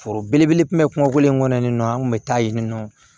Foro belebele kun bɛ kuma ko in kɔnɔ nin nɔ an kun bɛ taa yen nɔ